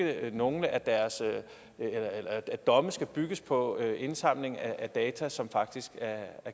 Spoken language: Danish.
at nogle af deres domme skal bygges på indsamling af data som faktisk er